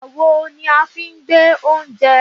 àwo ni a fi ń gbé oúnjẹ